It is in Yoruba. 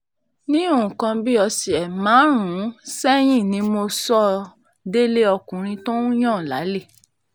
ní nǹkan bíi ọ̀sẹ̀ márùn-ún sẹ́yìn ni mo sọ ọ́ délé ọkùnrin tó ń yan lálè